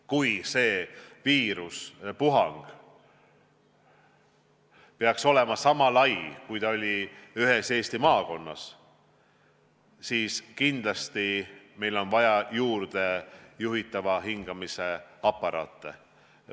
Kui uus viirusepuhang peaks olema sama lai, kui ta oli ta ühes Eesti maakonnas, siis kindlasti on vaja juurde juhitava hingamise aparaate.